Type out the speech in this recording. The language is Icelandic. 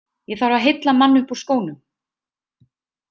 Ég þarf að heilla mann upp úr skónum.